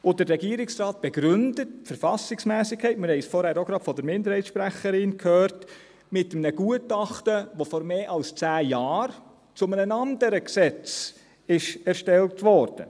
Der Regierungsrat begründet die Verfassungsmässigkeit – wir hörten es vorhin auch von der Minderheitssprecherin – mit einem Gutachten, das vor mehr als zehn Jahren zu einem anderen Gesetz erstellt wurde.